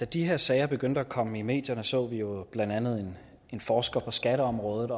da de her sager begyndte at komme i medierne så vi jo blandt andet en forsker på skatteområdet